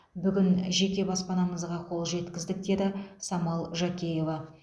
бүгін жеке баспанамызға қол жеткіздік деді самал жакеева